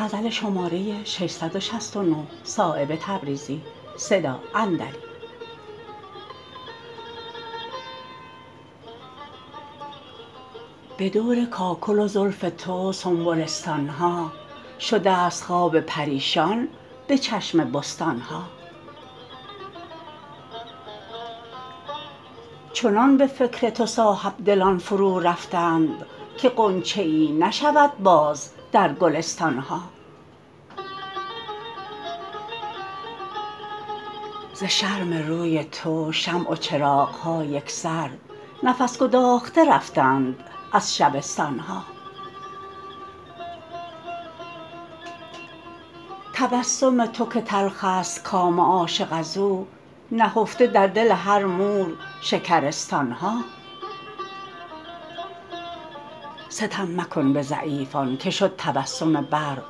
به دور کاکل و زلف تو سنبلستان ها شده است خواب پریشان به چشم بستان ها چنان به فکر تو صاحبدلان فرو رفتند که غنچه ای نشود باز در گلستان ها ز شرم روی تو شمع و چراغ ها یکسر نفس گداخته رفتند از شبستان ها تبسم تو که تلخ است کام عاشق ازو نهفته در دل هر مور شکرستان ها ستم مکن به ضعیفان که شد تبسم برق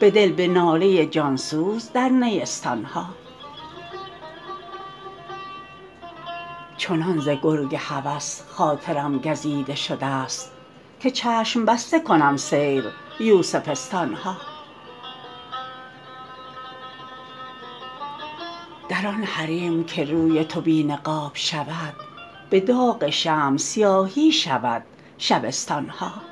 بدل به ناله جان سوز در نیستان ها چنان ز گرگ هوس خاطرم گزیده شده است که چشم بسته کنم سیر یوسفستان ها در آن حریم که روی تو بی نقاب شود به داغ شمع سیاهی شود شبستان ها